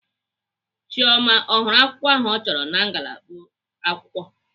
Chioma ọ hụrụ akwukwo ahụ ọ chọrọ na ngalaba akwụkwọ?